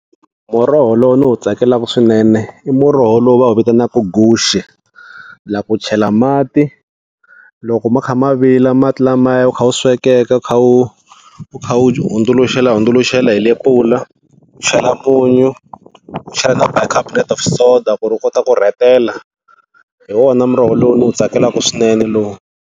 Muroho lowu ni wu tsakelaka swinene i muroho lowu va wu vitanaka guxe, la u chela mati loko ma kha ma vila mati lamaya wu kha wu swekeka u kha u u kha u hundzuluxelahundzuluxela hi lepula, u chela munyu, u chela na bicarbonate of soda, ku ri wu kota ku rhetela hi wona muroho lowu ndzi wu tsakelaka swinene luwa.